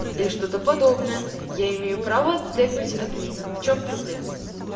и что-то подобное я имею право тегнуть админа в чём проблема